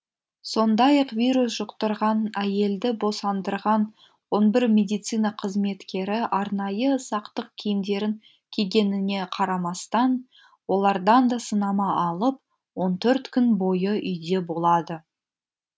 сондай ақ вирус жұқтырған әйелді босандырған он бір медицина қызметкері арнайы сақтық киімдерін кигеніне қарамастан олардан да сынама алынып он төрт күн бойы үйде болады